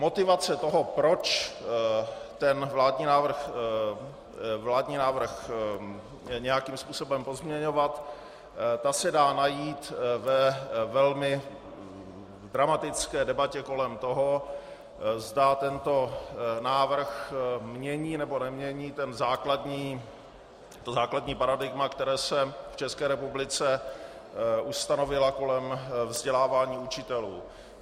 Motivace toho, proč ten vládní návrh nějakým způsobem pozměňovat, ta se dá najít ve velmi dramatické debatě kolem toho, zda tento návrh mění, nebo nemění ta základní paradigmata, která se v České republice ustanovila kolem vzdělávání učitelů.